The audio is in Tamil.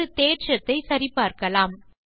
ஒரு தேற்றத்தை சரி பார்க்கலாம்